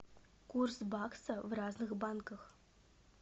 курс бакса в разных банках